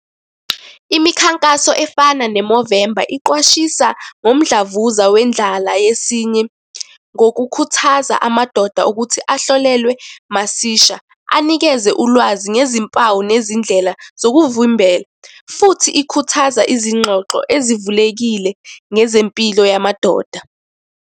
Imikhankaso efana ne-Movember, iqwashisa ngomdlavuza wendlala yesinye, ngokukhuthaza amadoda ukuthi ahlolelwe masisha. Anikeze ulwazi ngezimpawu nezindlela zokuvimbela, futhi ikhuthaza izingxoxo ezivulekile ngezempilo yamadoda.